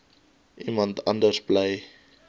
iemand anders bly